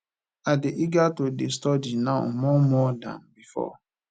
i dey eager to dey study now more more dan before